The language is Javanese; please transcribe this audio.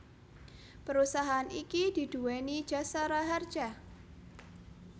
Perusahaan iki diduweni Jasa Raharja